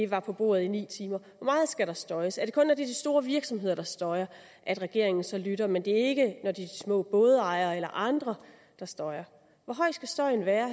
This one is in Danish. var på bordet i ni timer hvor meget skal der støjes er det kun er de store virksomheder der støjer at regeringen så lytter men det er ikke er de små bådejere eller andre der støjer hvor høj skal støjen være